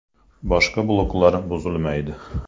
Boshqa bloklar buzilmaydi.